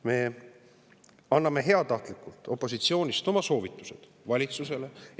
Me anname heatahtlikult opositsioonist oma soovitused valitsusele.